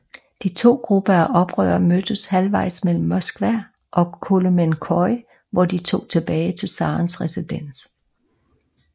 De to grupper af oprører mødtes halvvejs mellem Moskva og Kolomenskoye hvor de tog tilbage til zarens residens